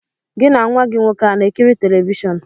Gị na nwa gị nwoke a na-ekiri telivishọn?